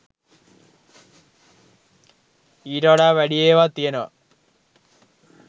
ඊට වඩා වැඩි ඒවත් තියනවා